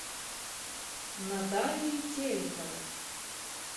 натальей тереховой